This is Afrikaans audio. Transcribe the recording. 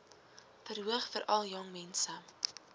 verhoog veral jongmense